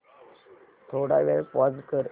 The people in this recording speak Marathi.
थोडा वेळ पॉझ कर